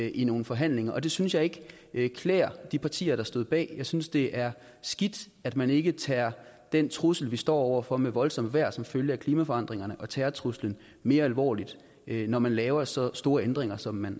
i nogle forhandlinger og det synes jeg ikke klæder de partier der stod bag jeg synes det er skidt at man ikke tager den trussel vi står over for med voldsomt vejr som følge af klimaforandringerne og terrortruslen mere alvorligt når man laver så store ændringer som man